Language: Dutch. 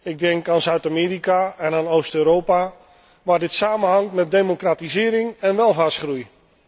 Ik denk aan Zuid Amerika en aan Oost Europa, waar dit samenhangt met democratisering en welvaartsgroei.